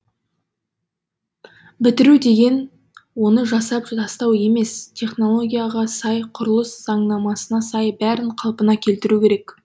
бітіру деген оны жасап тастау емес технологияға сай құрылыс заңнамасына сай бәрін қалпына келтіру керек